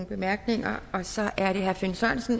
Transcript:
bemærkninger så er det herre finn sørensen